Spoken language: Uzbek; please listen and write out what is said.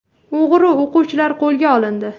O‘g‘ri o‘quvchilar qo‘lga olindi.